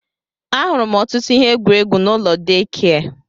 Ahụrụ m ọtụtụ ihe egwuregwu n'ụlọ deekia.